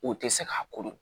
U tɛ se k'a ko dɔn